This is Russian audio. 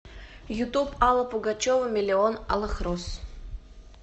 ютуб алла пугачева миллион алых роз